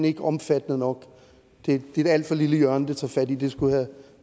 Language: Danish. ikke er omfattende nok det er et alt for lille hjørne det tager fat i det skulle have